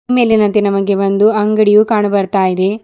ಈ ಮೇಲಿನಂತೆ ನಮಗೆ ಒಂದು ಅಂಗಡಿಯು ಕಾಣಬರ್ತಾಇದೆ.